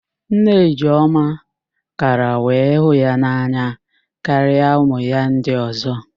Nne Ijeọma kara wee hụ ya n'anya karịa ụmụ ya ndị ọ̀zọ́